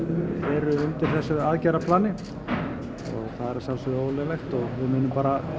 eru undir þessu aðgerðarplani það er að sjálfsöðgu ólöglegt og við munum